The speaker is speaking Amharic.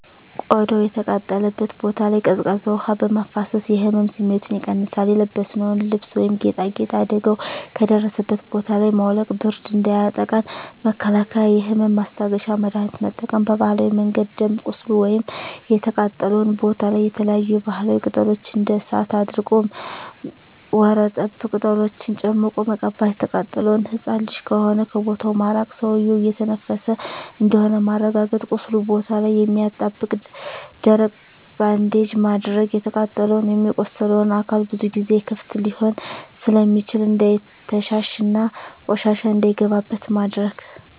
ቆዳው የተቃጠለበት ቦታ ላይ ቀዝቃዛ ውሀ በማፍሰስ የህመም ስሜቱን ይቀንሳል :የለበስነውን ልብስ ወይም ጌጣጌጥ አደጋው ከደረሰበት ቦታ ላይ ማውለቅ ብርድ እንዳያጠቃን መከላከል የህመም ማስታገሻ መድሀኒት መጠቀም በባህላዊ መንገድ ደም ቁስሉ ወይም የተቃጠለው ቦታ ላይ የተለያዪ የባህላዊ ቅጠሎች እንደ እሳት አድርቅ ወርጠብ ቅጠሎችን ጨምቆ መቀባት። የተቃጠለው ህፃን ልጅ ከሆነ ከቦታው ማራቅ ሰውዬው እየተነፈሰ እንደሆነ ማረጋገጥ ቁስሉ ቦታ ላይ የማያጣብቅ ደረቅ ባንዴጅ ማድረግ። የተቃጠለው ወይም የቆሰለው አካል ብዙ ጊዜ ክፍት ሊሆን ስለሚችል እንዳይተሻሽ እና ቆሻሻ እንዳይገባበት ማድረግ።